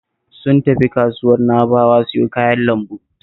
Sun tafi kasuwar Na'bawa siyo kayan lambu